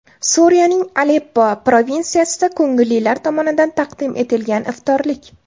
Suriyaning Aleppo provinsiyasida ko‘ngillilar tomonidan taqdim etilgan iftorlik.